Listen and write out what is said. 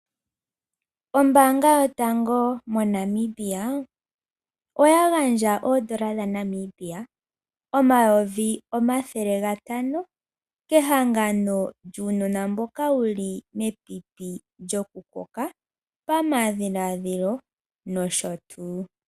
Ombaanga yotango moNamibia oya gandja oodola dha Namibia omayovi omathele gatano kuunona mboka kehangano lyuunona mboka wuli mepipi lyokukoka pamadhiladhilo nosho tuu.